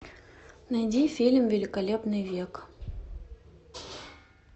найди фильм великолепный век